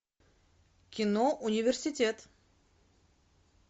кино университет